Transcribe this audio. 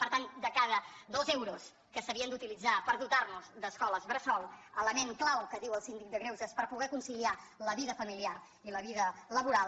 per tant de cada dos euros que s’havien d’utilitzar per dotar nos d’escoles bressol element clau que diu el síndic de greuges per poder conciliar la vida familiar i la vida laboral